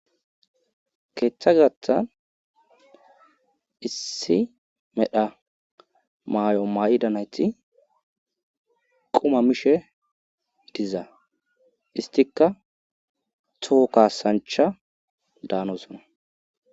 keeththa gathan issi medha maay7o may7ida nayti quma mishe diza istikka tuhu kasancha daanosona